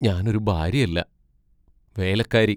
ഞാൻ ഒരു ഭാര്യയല്ല, വേലക്കാരി.